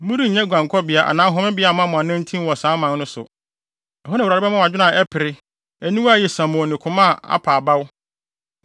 Morennya guankɔbea anaa homebea mma mo anantin wɔ saa aman no so. Ɛhɔ na Awurade bɛma mo adwene a ɛpere, aniwa a ayɛ siamoo ne koma a apa abawa.